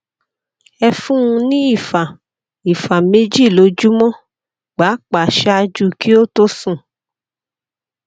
ẹ fún un ní ìfà ìfà méjì lójúmọ pàápàá ṣáájú kí ó tó sùn